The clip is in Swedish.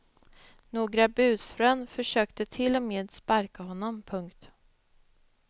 Några busfrön försökte till och med sparka honom. punkt